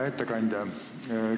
Hea ettekandja!